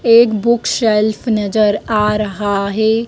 एक book shelf नजर आ रहा है।